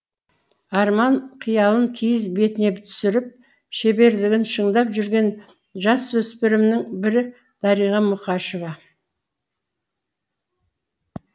арман қиялын киіз бетіне түсіріп шеберлігін шыңдап жүрген жасөспірімнің бірі дариға мұқашева